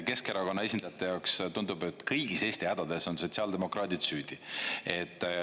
Keskerakonna esindajate jaoks tundub, et kõigis Eesti hädades on sotsiaaldemokraadid süüdi.